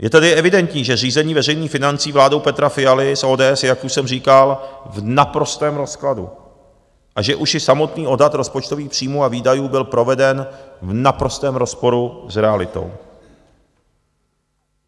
Je tedy evidentní, že řízení veřejných financí vládou Petra Fialy z ODS je, jak už jsem říkal, v naprostém rozkladu, a že už i samotný odhad rozpočtových příjmů a výdajů byl proveden v naprostém rozporu s realitou.